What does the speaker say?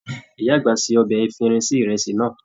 Ìyá àgbà ṣe ọbẹ efirin sí ìrẹsì náà.